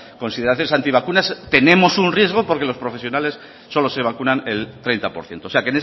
consideración anti vacunas tenemos un riesgo porque los profesionales solo se vacunan el treinta por ciento o sea